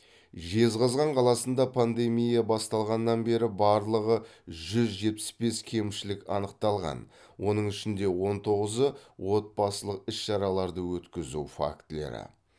жезқазған қаласында пандемия басталғаннан бері барлығы жүз жетпіс бес кемшілік анықталған оның ішінде он тоғызы отбасылы іс шараларды өткізу фактілері